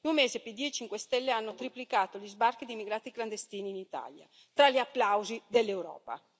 In un mese Pd e 5 Stelle hanno triplicato gli sbarchi di immigrati clandestini in Italia, tra gli applausi dell'Europa.